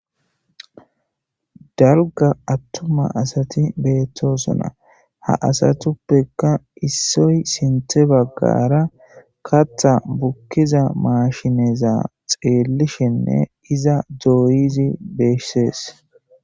daruga attuma asati beettosona ha asatuppekka issoy sinthe baggara katha bukkiza maashineza xeellishenne iza dooyizi beessees